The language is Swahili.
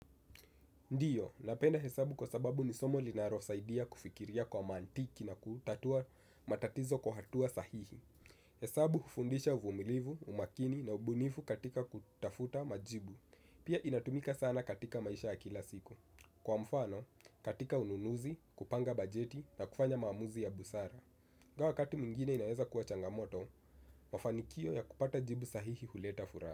Ndiyo, napenda hesabu kwa sababu ni somo linalosaidia kufikiria kwa mantiki na kutatua matatizo kwa hatua sahihi. Hesabu hufundisha uvumilivu, umakini na ubunifu katika kutafuta majibu. Pia inatumika sana katika maisha ya kila siku. Kwa mfano, katika ununuzi, kupanga bajeti na kufanya maamuzi ya busara ingawa wakati mwingine inaweza kuwa changamoto, mafanikio ya kupata jibu sahihi huleta furaha.